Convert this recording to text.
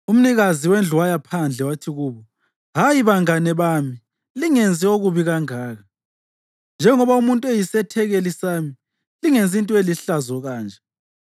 Umnikazi wendlu waya phandle wathi kubo, “Hayi, bangane bami, lingenzi okubi kangaka. Njengoba umuntu eyisethekeli sami, lingenzi into elihlazo kanje.